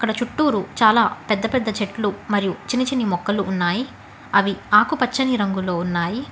ఈడ చుట్టూరు చాలా పెద్ద పెద్ద చెట్లు మరియు చిన్ని చిన్ని మొక్కలు ఉన్నాయి అవి ఆకుపచ్చని రంగులో ఉన్నాయి.